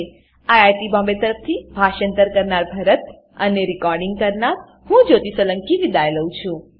httpspoken tutorialorgNMEICT Intro IIT Bombay તરફથી હું ભરતભાઈ સોલંકી વિદાય લઉં છું